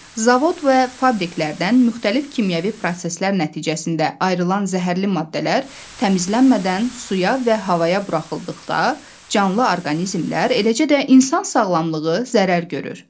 Zavod və fabriklərdən müxtəlif kimyəvi proseslər nəticəsində ayrılan zəhərli maddələr təmizlənmədən suya və havaya buraxıldıqda canlı orqanizmlər, eləcə də insan sağlamlığı zərər görür.